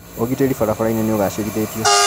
ũgitĩri barabarainĩ nĩũgacĩrithĩtio.